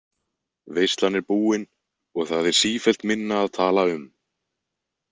Veislan er búin og það er sífellt minna að tala um.